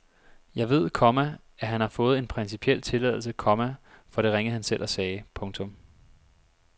Jeg ved, komma at han har fået en principiel tilladelse, komma for det ringede han selv og sagde. punktum